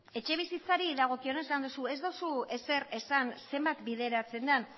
etxebizitzari dagokionez esan duzu ez duzu ezer esan zenbat bideratzen den